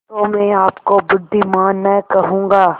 तो मैं आपको बुद्विमान न कहूँगा